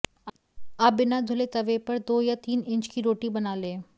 आप बिना धुले तवे पर दो या तीन इंच की रोटी बना लें